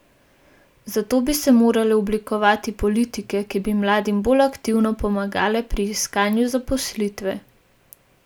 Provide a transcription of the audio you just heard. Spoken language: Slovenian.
Zato bi se morale oblikovati politike, ki bi mladim bolj aktivno pomagale pri iskanju zaposlitve.